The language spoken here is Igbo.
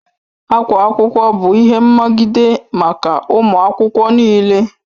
Akwa akwụkwọ bụ ihe mmagide maka ụmụ akwụkwọ n'ile